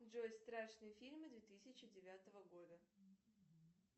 джой страшные фильмы две тысячи девятого года